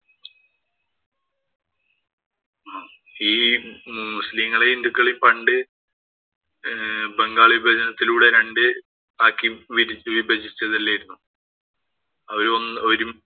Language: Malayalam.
ഈ മുസ്ലിങ്ങളെയും, ഹിന്ദുക്കളെയും പണ്ട് ബംഗാള്‍ വിഭജനത്തിലൂടെ രണ്ടു ആക്കി വിഭജിച്ചതല്ലാരുന്നോ. അവര് ഒന്ന് ഒരുമ്മി